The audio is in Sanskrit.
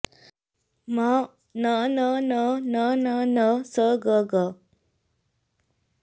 म न न न न न न स ग ग